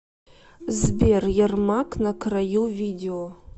сбер ярмак на краю видео